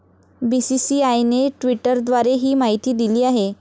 बीसीसीआयने ट्विटरद्वारे ही माहिती दिली आहे.